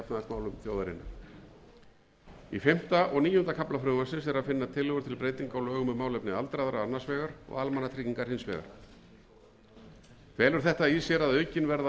þjóðarinnar í fimmta og níunda kafla frumvarpsins er að finna tillögur til breytinga á lögum um málefni aldraðra annars vegar og almannatryggingar hins vegar felur þetta í sér að aukin verða áhrif